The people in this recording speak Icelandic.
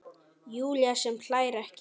Júlía sem hlær ekki.